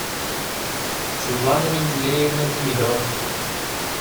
светлана менделеевна демидова